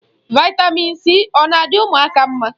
Vị́tamị́n c ọ na adị ụmụaka mma?